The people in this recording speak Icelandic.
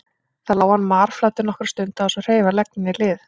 Þar lá hann marflatur nokkra stund án þess að hreyfa legg né lið.